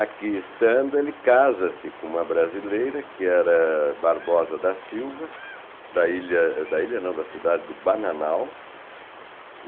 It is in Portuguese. Aqui estando, ele casa-se com uma brasileira, que era Barbosa da Silva, da ilha, da ilha não, da cidade, do Bananal.